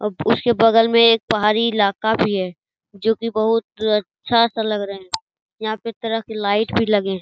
उसके बगल में एक पहाड़ी इलाका भी है जो की बहुत अच्छा सा लग रहे है यहाँ पे तरह की लाइट भी लगे हैं।